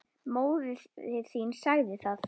Móðir þín sagði hann.